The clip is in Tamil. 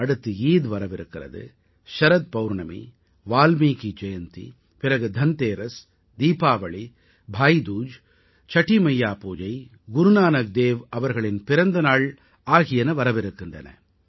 அடுத்து ஈத் வரவிருக்கிறது சரத் பௌர்ணமி வால்மீகி ஜெயந்தி பிறகு தன்தேரஸ் தீபாவளி பாயிதூஜ் சடீமையா பூஜை குருநானக் தேவ் அவர்களின் பிறந்தநாள் ஆகியன வரவிருக்கின்றன